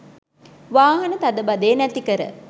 වාහන තදබදය නැතිකර